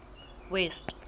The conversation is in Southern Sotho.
west